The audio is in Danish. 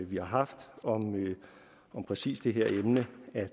vi har haft om præcis det her emne at